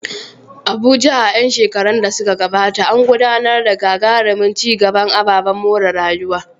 Abuja, a ƴan shekarun da suka gabata, an gudanar da gagarumin ci gaban ababen more rayuwa.